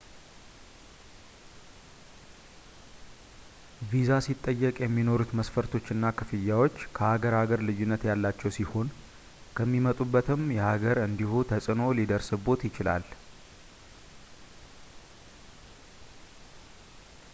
ቪዛ ሲጠየቅ የሚኖሩት መስፈርቶች እና ክፍያዎች ከሀገር ሀገር ልዩነት ያላቸው ሲሆን ከሚመጡበትም የሀገር እንዲሁ ተፅዕኖ ሊደርስብዎት ይችላል